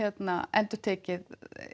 endurtekið